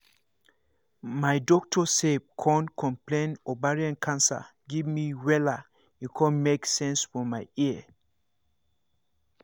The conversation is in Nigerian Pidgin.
my doctor sef con explain ovarian cancer give me wella e con make sense for my ear